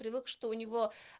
привык что у него